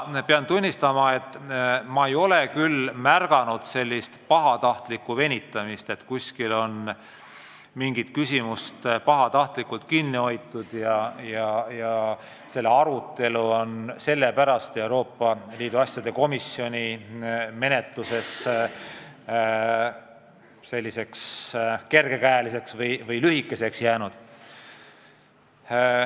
Ma kinnitan, et ma ei ole küll märganud pahatahtlikku venitamist, seda, et kuskil on mingit teemat pahatahtlikult kinni hoitud ja nii on selle arutelu Euroopa Liidu asjade komisjonis kergekäeliseks või lühikeseks jäänud.